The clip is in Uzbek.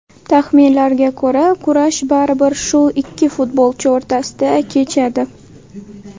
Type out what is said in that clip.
Taxminlarga ko‘ra, kurash baribir shu ikki futbolchi o‘rtasida kechadi.